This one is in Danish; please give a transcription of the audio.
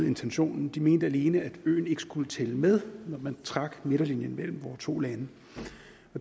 intentionen de mente alene at øen ikke skulle tælle med når man trak midterlinjen mellem vore to lande